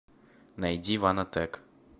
найди ванотек